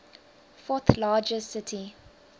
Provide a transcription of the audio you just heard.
fourth largest city